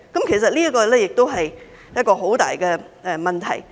其實，這也是一個很大的問題。